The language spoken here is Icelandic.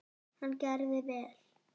Hann gerði vel.